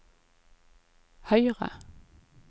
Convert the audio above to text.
høyre